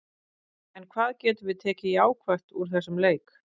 En hvað getum við tekið jákvætt úr þessum leik?